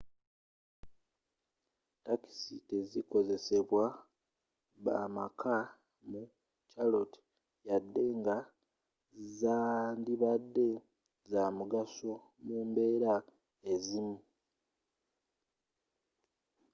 takisi tezikozesebwa bamakka mu charlotte wadde nga zandibadde zamugso mu mbeera ezimu